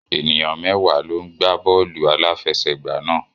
Ènìyàn mẹ́wàá ló ń gbá bọ́ọ̀lù aláfẹsẹ̀gbá náà